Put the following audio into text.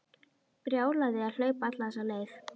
Brjálæði að hlaupa alla þessa leið.